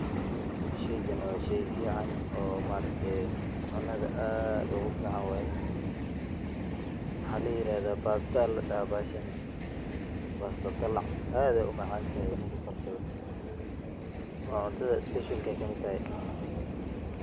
Sheygan wa sheey fican, oo maarakte cunada aad ogufican waye, waxa layiraxda pasta aya ladaxa baxashan, pasta dalac aad umacantaxay ninki karsado, wa cuntada special ayay kamid taxay.